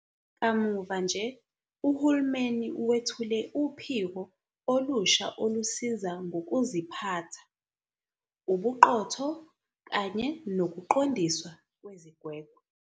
Kamuva-nje, uhulumeni wethule uPhiko olusha Olusiza Ngokuziphatha, Ubuqotho kanye Nokuqondiswa Kwezigwegwe.